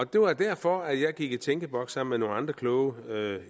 det var derfor at jeg gik i tænkeboks sammen med nogle andre kloge eller